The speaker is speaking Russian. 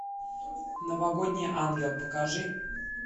новогодний ангел покажи